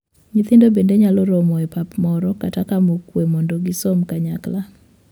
Nyithindo bende nyalo romo e pap moro kata kama okwe mondo gisom kanyakla.